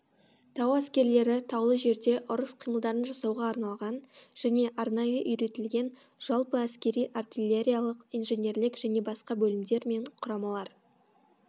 тау әскерлері таулы жерде ұрыс қимылдарын жасауға арналған және арнайы үйретілген жалпы әскери артиллериялық инженерлік және басқа бөлімдер мен құрамалар